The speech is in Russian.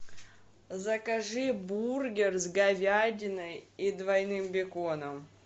закажи бургер с говядиной и двойным беконом